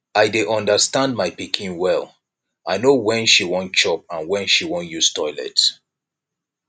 i dey understand my pikin well i no when she wan chop and when she wan use toilet